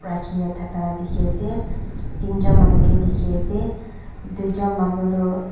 thaka la dikhi ase tin jun manu ke dikhi ase duijun manu toh--